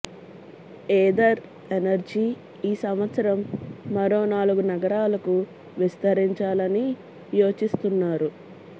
Ather energy ఈ సంవత్సరం మరో నాలుగు నగరాలకు విస్తరించాలని యోచిస్తున్నారు